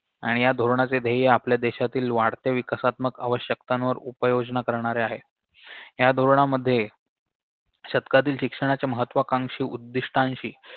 आणि या धोरणाचे ध्येय आपल्या देशातील वाढत्या विकासात्मक आवश्यकतांवर उपाययोजना करणे आहे या धोरणामध्ये शतकातील शिक्षणाच्या महत्वाकांक्षी उद्दिष्टांशी